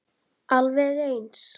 Alveg eins!